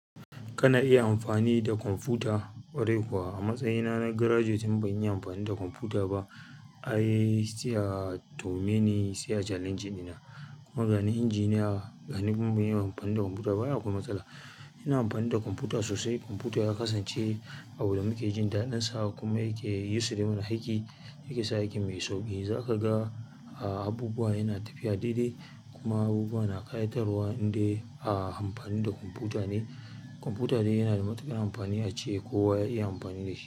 Kana iya amfani da kwamfuta? Ƙwarai kuwa, a matsayina na graduate in ban yi amfani da kwamfuta ba ai. Ai, sai a tuhume ni, sai a challenging ɗina. Kuma ga ni injiniya, ga ni kuma ban iya amfani da kwamfuta ba, ai akwai matsala. Ina amfani da kwamfuta sosai. Komfuta yakasance abu da muke jin daɗin sa, kuma yaken yassare mana aiki, ya ke sa aikin mu yayi sauƙi. Zaka ga a, abubuwa yana tafiya daidai kuma abubuwa na ƙayatarwa in dai a amfani da kwamfuta ne. Kwamfuta dai yana da matuƙar amfani ace kowa ya iya amfani da shi.